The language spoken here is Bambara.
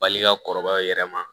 Bali ka kɔrɔbaya yɛrɛ ma